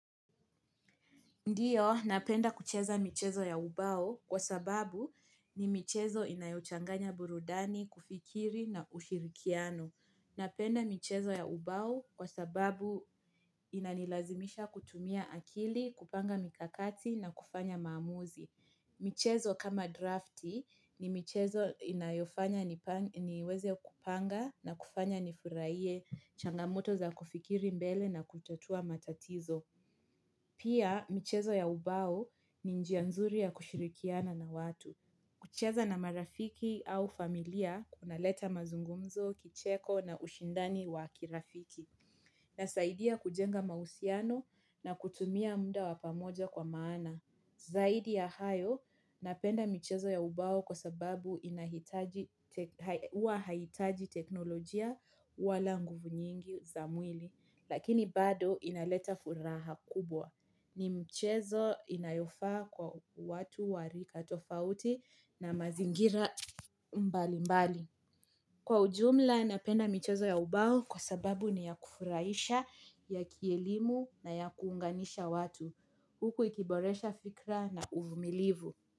Ndiyo, napenda kucheza michezo ya ubao kwa sababu ni michezo inayochanganya burudani, kufikiri na ushirikiano. Napenda michezo ya ubao kwa sababu inanilazimisha kutumia akili, kupanga mikakati na kufanya maamuzi. Michezo kama drafti ni michezo inayofanya niweze kupanga na kufanya nifuraiye changamoto za kufikiri mbele na kutatua matatizo. Pia, michezo ya ubao ni njia nzuri ya kushirikiana na watu. Kucheza na marafiki au familia, kunaleta mazungumzo, kicheko na ushindani wa kirafiki. Nasaidia kujenga mausiano na kutumia muda wapamoja kwa maana. Zaidi ya hayo, napenda michezo ya ubao kwa sababu inahitaji teknolojia wala nguvu nyingi za mwili. Lakini bado inaleta furaha kubwa. Ni mchezo inayofaa kwa watu warika tofauti na mazingira mbali mbali kwa ujumla napenda michezo ya ubao kwa sababu ni ya kufuraisha ya kielimu na ya kuunganisha watu huku ikiboresha fikra na uvumilivu.